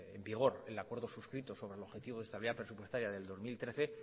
en vigor el acuerdo suscrito sobre el objetivo de estabilidad presupuestaria del dos mil trece